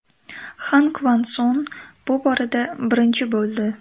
Xan Kvan Son bu borada birinchi bo‘ldi.